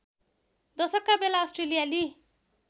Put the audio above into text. दशकका बेला अस्ट्रेलियाली